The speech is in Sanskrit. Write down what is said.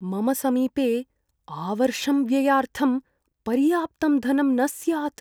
मम समीपे आवर्षं व्ययार्थं पर्याप्तं धनं न स्यात्।